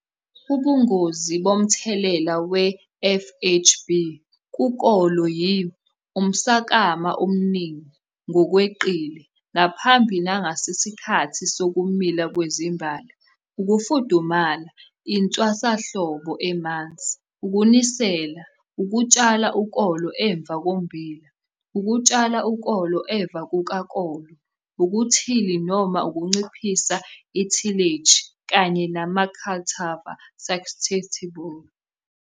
Ubungozi bomthelela we-FHB kukolo yi- Umswakama omningi ngokweqile ngaphambi nangesikhathi sokumila kwezimbali, ukufudumala, intwasahlobo emanzi, ukunisela, ukutshala ukolo emva kommbila, ukutshala ukolo emva kukakolo, ukungathili noma ukunciphisa ithileji, kanye nama-cultivar susceptible.